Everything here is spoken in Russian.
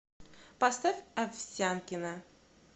поставь овсянкина